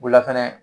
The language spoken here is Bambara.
O la fɛnɛ